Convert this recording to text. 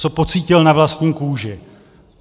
Co pocítil na vlastní kůži?